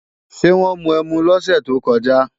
Ṣé wọ́n mu ẹmu lọ́sẹ̀ tó kọjá?